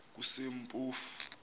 kusempofu